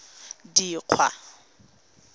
dikgwa